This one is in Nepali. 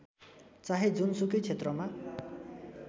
चाहे जुनसुकै क्षेत्रमा